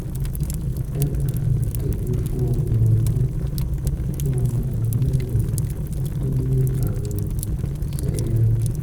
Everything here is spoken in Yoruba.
dábàá ìtọ́jú fún ọmọ ọdún fún ọmọ ọdún mẹ́rin tó ní àrùn celiac